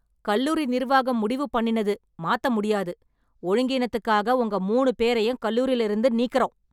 கல்லூரி நிர்வாகம் முடிவு பண்ணினது மாத்த முடியாது, ஒழுங்கினீத்துக்காக உங்க மூணு பேரையும் கல்லூரில இருந்து நீக்குறோம்.